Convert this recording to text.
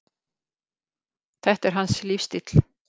Þetta er hans lífsstíll